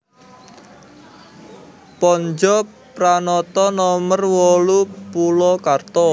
Pontjo Pranoto nomer wolu Polokarto